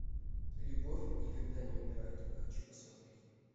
любовь никогда не умирает хочу посмотреть